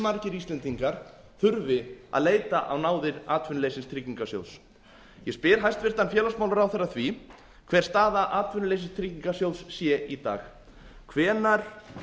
margir íslendingar þurfi að leita á náðir atvinnuleysistryggingasjóðs ég spyr hæstvirts félagsmálaráðherra að því hver staða atvinnuleysistryggingasjóðs sé í dag hvenær